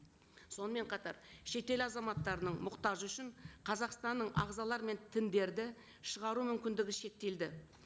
сонымен қатар шетел азаматтарының мұқтажы үшін қазақстанның ағзалары мен тіндерді шығару мүмкіндігі шектелді